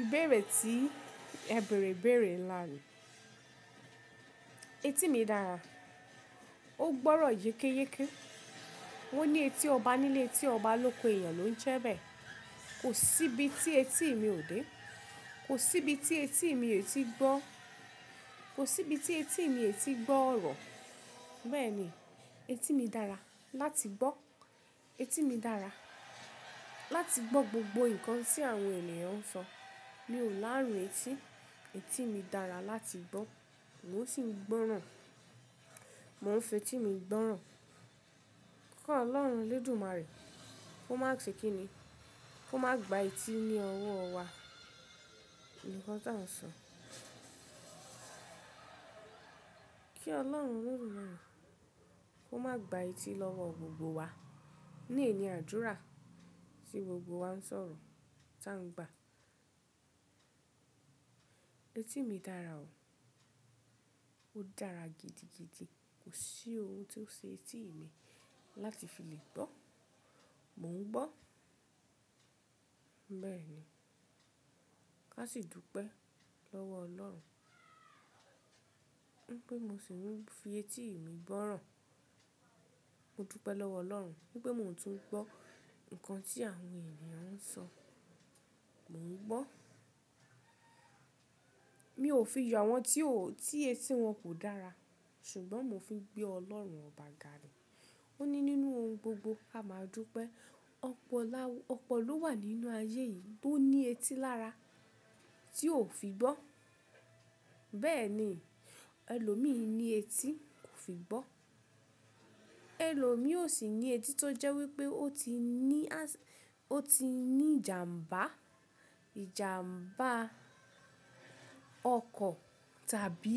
Ìbéèrè tí Ẹ bèèrè ibèèrè nlá ni. Etí mi dára, ó gbọ́rọ̀ yékéyéke. Wọ́n ní etí ọba nílé etí ọba lóko èèyàn ló ń jẹ́ bẹ́ẹ̀. Kò síbi tí etí mi ò dé. Kò síbi tí etí mi ò tíì gbọ́. Kò síbi tí etí mi ò tíì gbọ́ ọ̀rọ̀. Bẹ́ẹ̀ ni, etí mi dára láti gbọ́. Etí mi dára láti gbọ́ gbogbo nǹkan tí àwọn ènìyàn ń sọ. Mi ò láárun etí. Etí mi dára láti gbọ́. Mo sì ń gbọ́ràn. Mo ń fetí mi gbọ́ràn. Kọ́ Ọlọ́run Olódùmarè, kó má ṣe kí ni, kó má gba etí ní ọwọ́ wa. Kí Ọlọ́run mú ìrun, kó má gba etí lọ́wọ́ gbogbo wa. Eyi ni adúrà sí gbogbo wa ń sọ̀rọ̀ tá ń gbà. Etí mi dára o. Ó dára gidigidi. Kò sí ohun tí ó ṣe etí mi láti fi lè gbọ́. Mò ń gbọ́. Bẹ́ẹ̀ ni. Ká sì dúpẹ́ lọ́wọ́ Ọlọ́run. Ní pé mo sì ń fi etí mi gbọ́ràn. Mo dúpẹ́ lọ́wọ́ Ọlọ́run. Ní pé mò ń tún gbọ́ nǹkan tí àwọn ènìyàn ń sọ. Mò ń gbọ́. Mi ò fi ìyà àwọn tí etí wọn kò dára, ṣùgbọ́n mo fi ń gbé Ọlọ́run ọ̀bà gà ni. Ó ní nínú ohun gbogbo, a máa dúpẹ́. Ọpọ̀ ló wà nínú ayé yìí tó ní etí lára tí ò fi gbọ́. Bẹ́ẹ̀ ni, ẹlòmíì ní etí kò fi gbọ́. Ẹlòmíì ó sì ní etí tó jẹ́ wípé ó ti ní ìjàǹbá, ìjàǹbá ọkọ̀ tàbí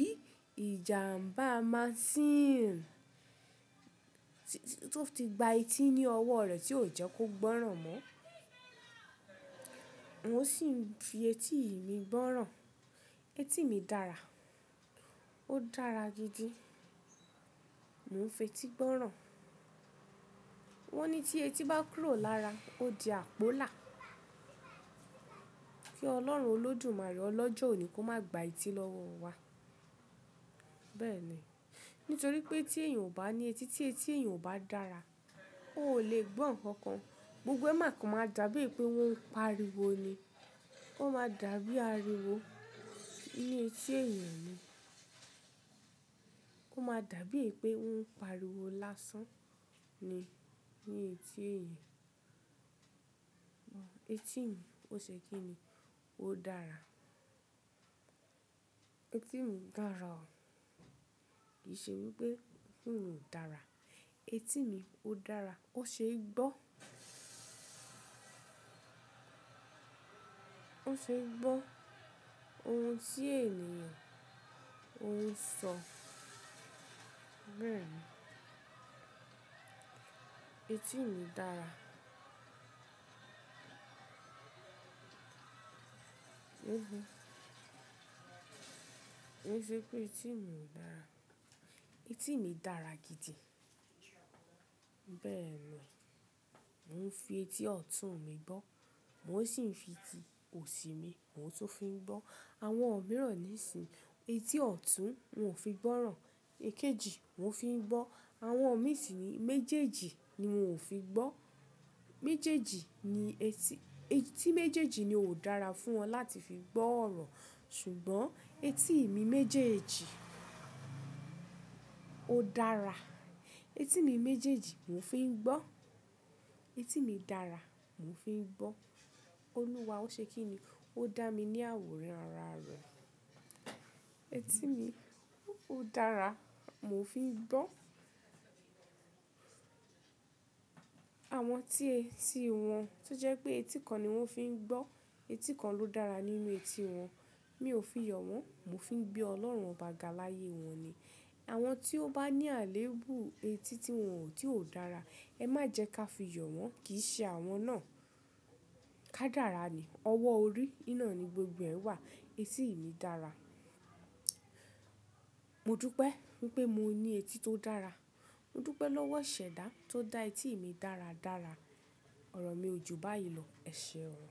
ìjàǹbá machine tó ti gba etí ní ọwọ́ rẹ̀ tí ò jẹ́ kó gbọ́ràn mọ́. Mo sì ń fi etí mi gbọ́ràn. Etí mi dára. Ó dára gidi. Mo ń fetí gbọ́ràn. Wọ́n ní tí etí bá kúrò lára, ó di àpọ́là. Kí Ọlọ́run Olódùmarè ọlọ́jọ́ òní kó má gba etí lọ́wọ́ wa. Bẹ́ẹ̀ ni. Nítorí pé tí èèyàn ò bá ní etí, tí etí èèyàn ò bá dára, ò lè gbọ́ nǹkan kan. Gbogbo ẹ máa kàn máa dàbí è pé wọ́n ń pariwo ni. Ó máa dàbí àríwó ní etí èèyàn ni. Ó máa dàbí è pé wọ́n ń pariwo lásán ni ní etí èèyàn. Etí mi ó ṣe kí ni, ó dára. Etí mi dára o. Kì í ṣe wípé etí mi ò dára. Etí mi ó dára, ó ṣe é gbọ́. Ó ṣe é gbọ́ ohun tí ènìyàn ń sọ. Bẹ́ẹ̀ ni. Etí mi dára. Ko n ṣe pé etí mi o dára. Etí mi dára gidi. Bẹ́ẹ̀ ni. Mo ń fi etí ọ̀tún mi gbọ́. Mo sì ń fi etí òsì mi, mò ń tún fi ń gbọ́. Àwọn òmíràn ní ìsinyi. Etí ọ̀tún, wọ́n ò fi gbọ́ràn. Èkejì, wọ́n fi ń gbọ́. Àwọn òmíì sì níyi méjèèjì ni wọ́n ò fi gbọ́. Méjèèjì ni etí. Etí méjèèjì ni ò dára fún wọn láti fi gbọ́ ọ̀rọ̀. Ṣùgbọ́n etí mi méjèèjì ó dára. Etí mi méjèèjì mò ń fi ń gbọ́. Etí mi dára, mò ń fi ń gbọ́. Olúwa ó ṣe kí ni, ó dá mi ní àwòrán ara rẹ̀. Etí mi ó dára, mò ń fi ń gbọ́. Àwọn tí etí wọn tó jẹ́ pé etí kan ni wọ́n fi ń gbọ́, etí kan ló dára nínú etí wọn, mi ò fi yọ wọ́n, mò ń fi gbé Ọlọ́run ọ̀bà gà láyé wọn ni. Àwọn tí ó bá ní àléébù etí tí wọn ò dára, ẹ má jẹ́ ká fi yọ wọ́n, kì í ṣe àwọn náà. Kádàra ni. Ọwọ́ orí, ná ni gbogbo ẹ̀ wà. Etí mi dára. Mo dúpẹ́ wípé mo ní etí tó dára. Mo dúpẹ́ lọ́wọ́ iṣẹ̀dá tó dá etí mi dáradára. Ọ̀rọ̀ mi ò ju báyìí lọ, ẹ ṣe ọ̀